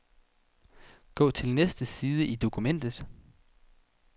Gå til næste side i dokumentet.